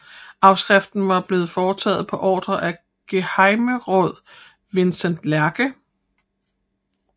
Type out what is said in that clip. Afskriften var blevet foretaget på ordre af gehejmeråd Vincents Lerche